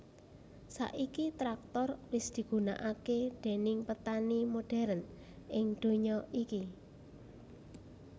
Saiki traktor wis digunakake déning petani modern ing donya iki